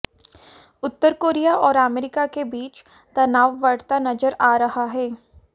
उत्तर Korea और America के बीच तनाव बढता नजर आ रहा है